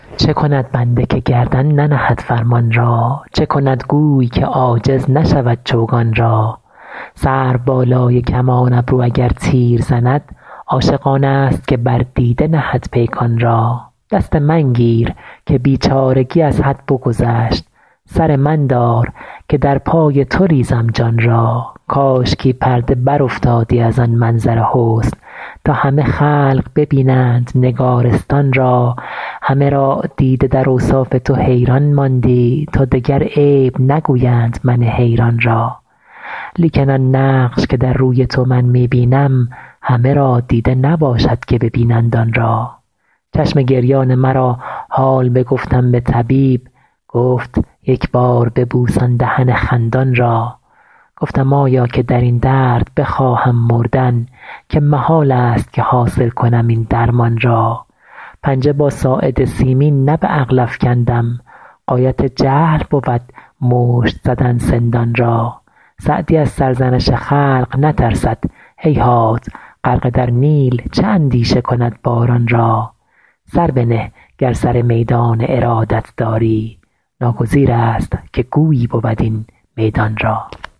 چه کند بنده که گردن ننهد فرمان را چه کند گوی که عاجز نشود چوگان را سروبالای کمان ابرو اگر تیر زند عاشق آنست که بر دیده نهد پیکان را دست من گیر که بیچارگی از حد بگذشت سر من دار که در پای تو ریزم جان را کاشکی پرده برافتادی از آن منظر حسن تا همه خلق ببینند نگارستان را همه را دیده در اوصاف تو حیران ماندی تا دگر عیب نگویند من حیران را لیکن آن نقش که در روی تو من می بینم همه را دیده نباشد که ببینند آن را چشم گریان مرا حال بگفتم به طبیب گفت یک بار ببوس آن دهن خندان را گفتم آیا که در این درد بخواهم مردن که محالست که حاصل کنم این درمان را پنجه با ساعد سیمین نه به عقل افکندم غایت جهل بود مشت زدن سندان را سعدی از سرزنش خلق نترسد هیهات غرقه در نیل چه اندیشه کند باران را سر بنه گر سر میدان ارادت داری ناگزیرست که گویی بود این میدان را